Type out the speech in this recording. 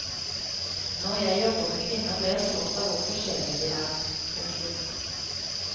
Når jeg jobber med kvinner blir jeg slått av hvor forskjellige vi er. punktum